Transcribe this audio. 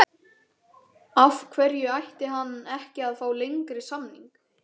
Af hverju ætti hann ekki að fá lengri samning?